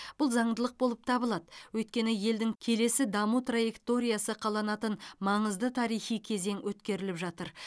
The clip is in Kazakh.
бұл заңдылық болып табылады өйткені елдің келесі даму траекториясы қаланатын маңызды тарихи кезең өткеріліп жатыр